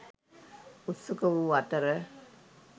උත්සුක වූ අතර,